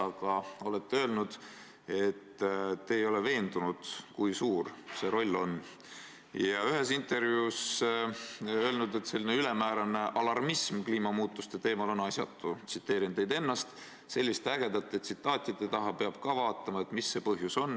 Aga te olete öelnud, et te ei ole veendunud, kui suur see roll on, ja ühes intervjuus olete öelnud, et selline ülemäärane alarmism kliimamuutuste teemal on asjatu: "Selliste ägedate tsitaatide taha peab ka vaatama, et mis see põhjus on.